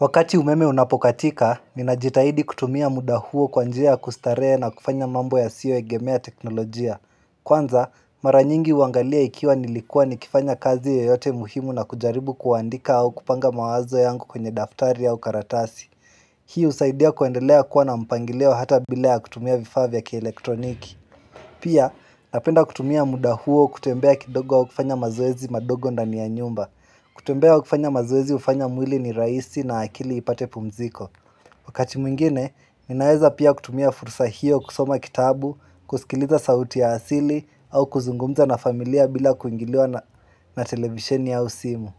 Wakati umeme unapokatika, ninajitahidi kutumia muda huo kwa njia ya kustarehe na kufanya mambo ya siyoegemea teknolojia. Kwanza, mara nyingi huangalia ikiwa nilikuwa ni kifanya kazi yoyote muhimu na kujaribu kuandika au kupanga mawazo yangu kwenye daftari au karatasi. Hii husaidia kuendelea kuwa na mpangilio hata bila ya kutumia vifaa vya kielektroniki. Pia, napenda kutumia muda huo kutembea kidogo au kufanya mazoezi madogo ndani ya nyumba. Kutembea au kufanya mazoezi ufanya mwili ni raisi na akili ipate pumziko. Wakati mwingine, ninaeza pia kutumia fursa hiyo kusoma kitabu, kusikiliza sauti ya asili, au kuzungumza na familia bila kuingiliwa na televisheni au simu.